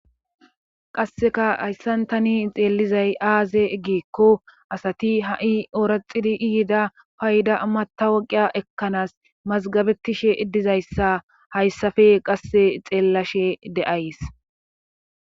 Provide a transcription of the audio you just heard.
qasseka hayssantani xeelizay aaze gikko asati ha7i ooraxidi ihida payda matta woqiya ekkanaas mazgabetishe iddizayssa hayssafe qasse xeellashe de7ays